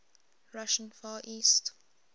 russian far east